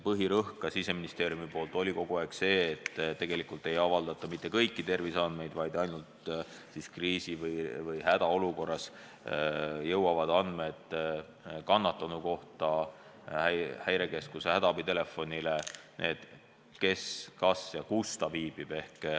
Põhirõhk Siseministeeriumi poolt on kogu aeg olnud see, et tegelikult ei avaldata mitte kõiki terviseandmeid, vaid ainult kriisi- või hädaolukorras jõuavad Häirekeskuse hädaabitelefonile andmed, kes kus viibib.